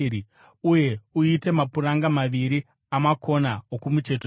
uye uite mapuranga maviri amakona okumucheto cheto.